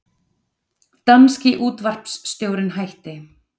Danski útvarpsstjórinn hættir